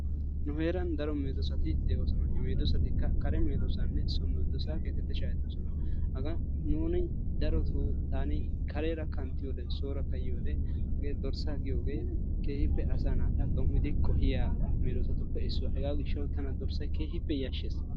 Nu heeran daro medoosati de'oosona. Hegeetikka so medoossanne kare meddoossa geteti shhahettodona. Haggan nuuni darotoo taani kareera kanttiyode soorakka yiyode hagee dorssaa giyogee asaa naata dom'idi qohiya medoosatuppe issuwa hegaa gishshawu tana dorssatay keehippe yashshees.